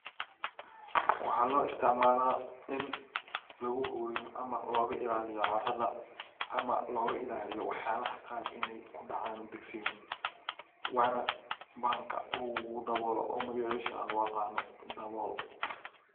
Waxa loo isticmala ini lagu huriyo ama lo isticmalo carada oo loga ilaliyo carada ama wax yalaha qaar iney kudacan digsiga waana bahalka u dabolo oo magacisa loo aqono dabol.